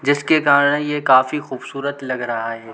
जिसके कारण ये काफी खूबसूरत लग रहा है।